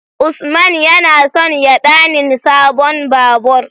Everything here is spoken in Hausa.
Usman yana son ya ɗanin sabon babur